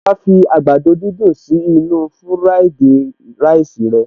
Ṣé wàá fi àgbàdo dídùn sí inú-u fúráìdì ráìsì rẹ